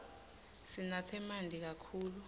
sinatse manti kakhulu